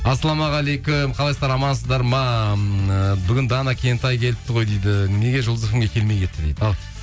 ассалаумағалейкум қалайсыздар амансыздар ма ыыы бүгін дана кентай келіп ғой дейді неге жұлдыз фм ге келмей кетті дейді ал